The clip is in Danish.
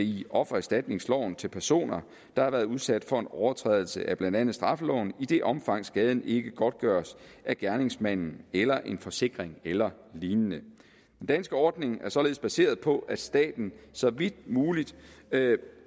i offererstatningsloven til personer der har været udsat for en overtrædelse af blandt andet straffeloven i det omfang skaden ikke godtgøres af gerningsmanden eller en forsikring eller lignende den danske ordning er således baseret på at staten så vidt muligt